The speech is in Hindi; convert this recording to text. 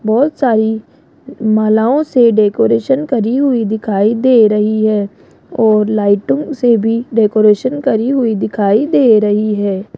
बहोत सारी मालाओं से डेकोरेशन करी हुई दिखाई दे रही है और लाइटों से भी डेकोरेशन करी हुई दिखाई दे रही है।